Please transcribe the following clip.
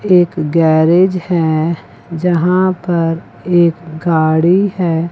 एक गैरेज हैं जहां पर एक गाड़ी है।